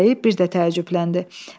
Meşəbəyi bir də təəccübləndi.